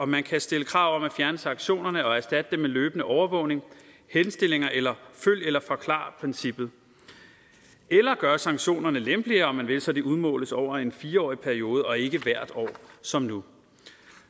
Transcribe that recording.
man kan stille krav om at fjerne sanktionerne og erstatte dem med løbende overvågning henstillinger eller følg eller forklar princippet eller gøre sanktionerne lempeligere om man vil så de udmåles over en fire årig periode og ikke hvert år som nu